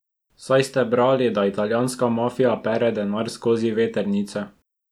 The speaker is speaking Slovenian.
Saj ste brali, da italijanska mafija pere denar skozi vetrnice.